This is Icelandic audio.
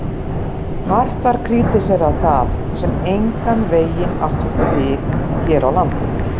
Hart var krítiserað það, sem engan veginn átti við hér á landi.